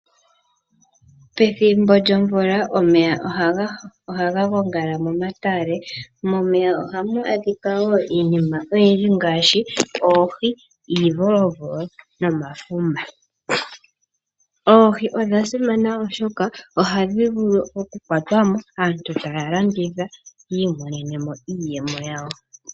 Pethimbo lyomvula omeya ohaga gongala momatale. Momeya ohamu adhika wo iinima oyindji ngaashi oohi, iivolovolo nomafuma. Oohi odha simana oshoka ohadhi vulu oku kwatwa mo, aantu taya landitha yi imonene mo iiyemo yawo.